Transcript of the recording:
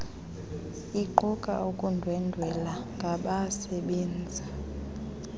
iquka ukundwendwela ngabasebenzi